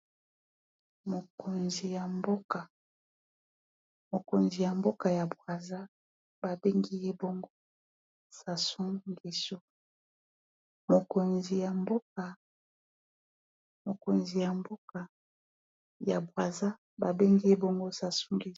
Mokonzi ya mboka ya Brazza babengi ye bongo SASou ngesu.